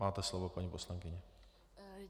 Máte slovo, paní poslankyně.